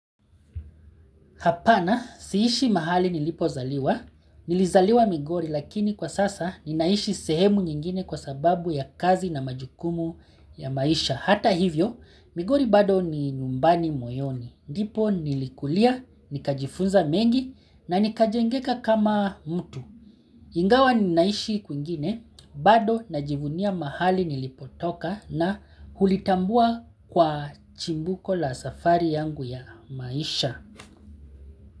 Hapana siishi mahali nilipo zaliwa, nilizaliwa Migori lakini kwa sasa ninaishi sehemu nyingine kwa sababu ya kazi na majukumu ya maisha. Hata hivyo migori bado ni nyumbani moyoni, ndipo nilikulia, nikajifunza mengi na nikajengeka kama mtu. Ingawa ninaishi kuingine bado najivunia mahali nilipotoka na hulitambua kwa chimbuko la safari yangu ya maisha.